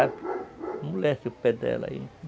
Amolece o pé dela aí.